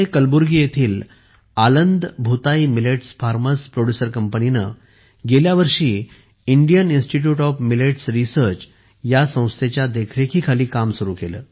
कर्नाटकमध्ये कलबुर्गी येथील Aland Bhootai millets farmers producer कंपनीने गेल्या वर्षी Indian institute of millets research या संस्थेच्या देखरेखीखाली काम सुरू केले